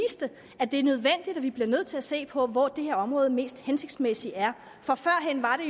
at vi bliver nødt til at se på hvor det her område mest hensigtsmæssigt er for førhen var